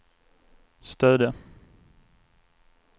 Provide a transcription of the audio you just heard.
Stöde